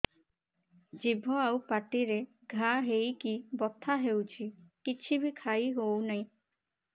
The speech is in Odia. ଜିଭ ଆଉ ପାଟିରେ ଘା ହେଇକି ବଥା ହେଉଛି କିଛି ବି ଖାଇହଉନି